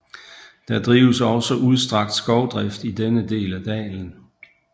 Der drives også udstrakt skovdrift i denne del af dalen